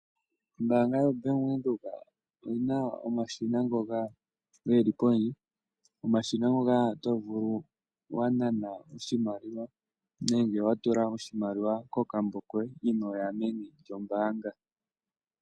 Ombaanga yoBank Windhoek oyina omashina ngoka geli kondje. Komashina ngoka oto vulu wananako oshimaliwa nenge watula oshimaliwa kokambo koye, inooya meni lyombaanga.